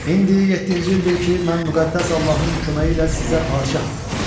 İndi yeddinci ildir ki, mən müqəddəs Allahın köməyi ilə sizə padşaham.